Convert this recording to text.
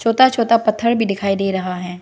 छोटा छोटा पत्थर भी दिखाई दे रहा है।